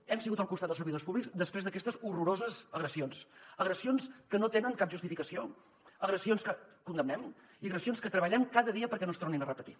hem estat al costat dels servidors públics després d’aquestes horroroses agressions agressions que no tenen cap justificació agressions que condemnem i agressions que treballem cada dia perquè no es tornin a repetir